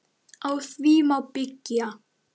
Á því má byggja.